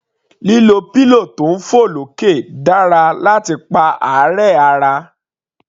Lílo pillow tí ń fọ̀ lókè dára láti pa àárẹ̀ ara.